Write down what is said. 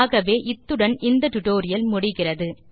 ஆகவே இத்துடன் இந்த டுடோரியல் முடிகிறது